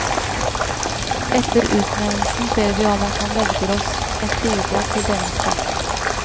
Etter utnevnelsen ber vi om at han velger oss et bidrag til denne spalten.